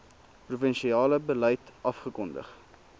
provinsiale beleid afgekondig